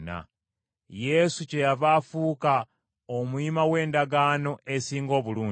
Yesu kyeyava afuuka omuyima w’endagaano esinga obulungi.